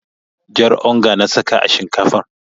Jar onga na saka a shinkafan.